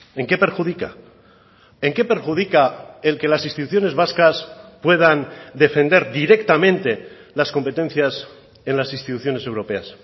en qué perjudica en qué perjudica el que las instituciones vascas puedan defender directamente las competencias en las instituciones europeas